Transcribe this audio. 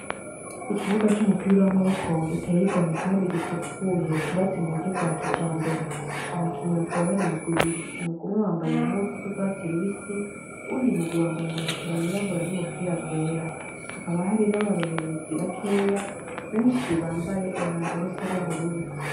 Ikibuga c'umupira w'amaboko giteye igomwe kandi gisukuye cubatse mu buryo bwa kijambere ,abakinyi bakaba bar 'imigw' ibiri ,umug'umwe wambaye impuzu z'ugwatsi rubisi wundi mugwi wambay' amabutura yirabura n'ubupira bwera, hakaba hari n'abarorerezi bakeya benshi bambaye umwambar'usa n'ubururu.